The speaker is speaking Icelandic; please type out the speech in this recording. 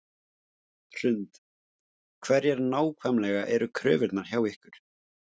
Hrund: Hverjar nákvæmlega eru kröfurnar hjá ykkur?